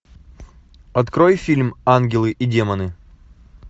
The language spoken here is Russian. открой фильм ангелы и демоны